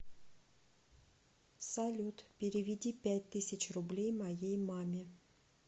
салют переведи пять тысяч рублей моей маме